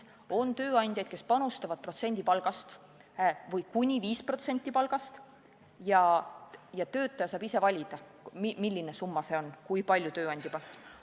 On tööandjaid, kes panustavad protsendi palgast või kuni 5% palgast, ja töötaja saab ise valida, milline summa see on, kui palju tööandja panustab.